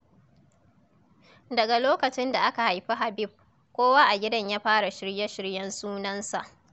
Daga lokacin da aka haifi Habib, kowa a gidan ya fara shirye-shiryen sunansa.